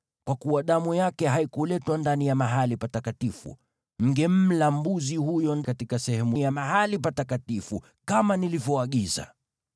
Kwa kuwa damu yake haikuletwa ndani ya Mahali Patakatifu, mngemla mbuzi huyo katika sehemu ya mahali patakatifu kama nilivyoagiza.”